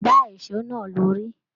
Gbà èsó náà lórí!